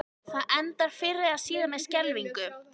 Það endar fyrr eða síðar með skelfingu.